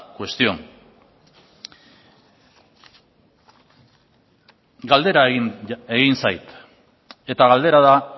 cuestión galdera egin zait eta galdera da